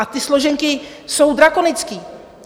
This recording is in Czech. A ty složenky jsou drakonické.